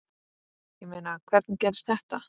Ég meina, hvernig gerðist þetta?